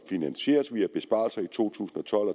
finansieres via besparelser i to tusind og tolv